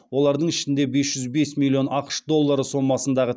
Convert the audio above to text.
олардың ішінде бес жүз бес миллион ақш доллары сомасындағы